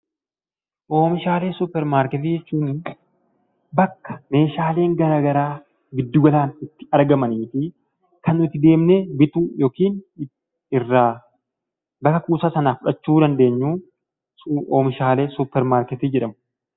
Oomishaalee suppermaarketii jechuun bakka meeshaaleen garagaraa giddu galaan itti argamanii fi kan nuti deemnee bituu yookiin irraa gara kuusaa sanaa fudhachuu dandeenyu, oomishaalee suppermaarketii jedhamu.